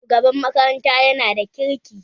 Shugaban makaranta yana da kirki